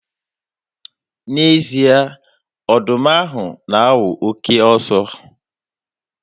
N'ezie, ọdụm ahụ na-awụ oke ọsọ.